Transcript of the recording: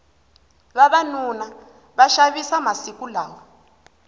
vavanuna va xavisa masiku lawa